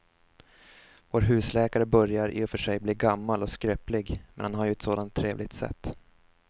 Vår husläkare börjar i och för sig bli gammal och skröplig, men han har ju ett sådant trevligt sätt!